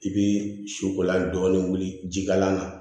I bi sukolan dɔɔnin wuli jikalan na